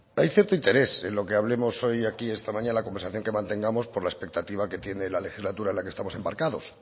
hay cierto interés en lo que hablemos hoy aquí esta mañana conversación que mantengamos por la expectativa que tiene la legislatura en la que estamos embarcados